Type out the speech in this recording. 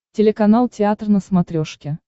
телеканал театр на смотрешке